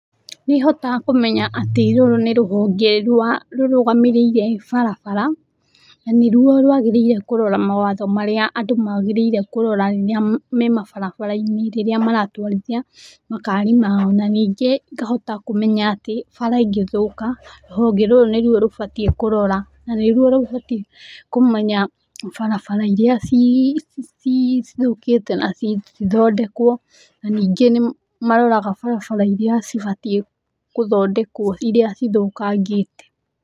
Nĩhotaga kũmenya atĩ rũrũ nĩ rũhonge rwa rũrũgamĩrĩire barabara na nĩruo rwagĩrĩire kũrora mawatho marĩa andũ magĩrĩire kũrora rĩrĩa me mabarabara-inĩ rĩrĩa maratwarithia makari mao na ningĩ ngahota kũmenya atĩ bara ĩngĩthũka, rũhonge rũrũ nĩruo rũbatiĩ kũrora na nĩruo rũbatiĩ kũmenya barabara iria cithũkĩte na cithondekwo na ningĩ nĩ maroraga barabara iria cibatiĩ gũthondekwo, iria cithũkangĩte.